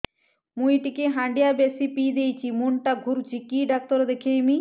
ମୁଇ ଟିକେ ହାଣ୍ଡିଆ ବେଶି ପିଇ ଦେଇଛି ମୁଣ୍ଡ ଟା ଘୁରୁଚି କି ଡାକ୍ତର ଦେଖେଇମି